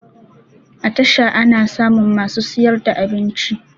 A tasha ana samun masu siyar da abinci